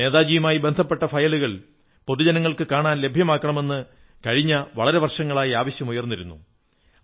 നേതാജിയുമായി ബന്ധപ്പെട്ട ഫയലുകൾ പൊതുജനങ്ങൾക്ക് കാണാൻ ലഭ്യമാക്കണമെന്ന് കഴിഞ്ഞ വളരെ വർഷങ്ങളായി ആവശ്യം ഉയർന്നിരുന്നു